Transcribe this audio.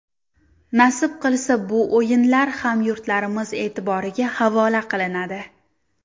Nasib qilsa, bu o‘yinlar hamyurtlarimiz e’tiboriga havola qilinadi.